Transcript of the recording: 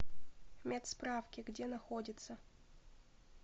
медсправки где находится